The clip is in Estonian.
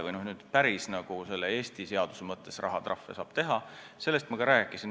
Milliseid Eesti seaduse mõttes rahatrahve saab teha, sellest ma juba rääkisin.